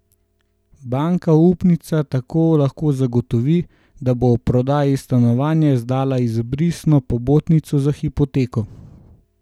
Banka upnica tako lahko zagotovi, da bo ob prodaji stanovanja izdala izbrisno pobotnico za hipoteko.